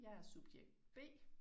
Jeg er subjekt B